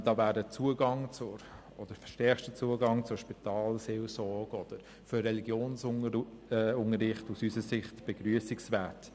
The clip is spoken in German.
So wäre aus unserer Sicht der verstärkte Zugang zur Spitalseelsorge oder zum Religionsunterricht begrüssenswert.